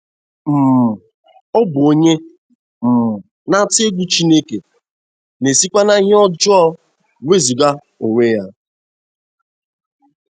um Ọ bụ onye um na - atụ egwu Chineke, na - esikwa n’ihe ọjọọ wezụga onwe ya. ”